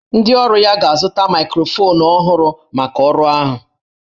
Ndị ọrụ ya ga-azụta maịkrofonu ọhụrụ maka ọrụ ahụ